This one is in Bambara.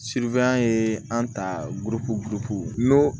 ye an ta